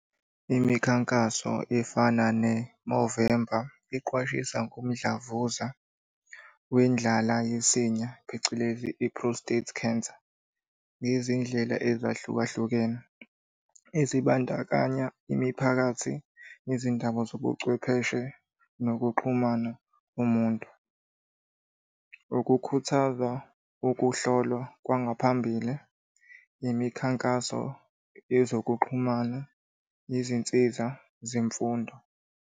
Imikhankaso efana ne-Movember iqwashisa ngomdlavuza wendlala yesinye phecelezi i-prostate cancer ngezindlela ezahlukahlukene ezibandakanya imiphakathi, izindaba zobuchwepheshe, nokuxhumana umuntu. Ukukhuthaza ukuhlolwa kwangaphambili, imikhankaso yezokuxhumana, izinsiza zemfundo.